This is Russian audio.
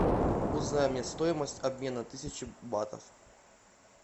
узнай мне стоимость обмена тысячи батов